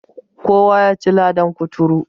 Kowa yaci ladan kuturu.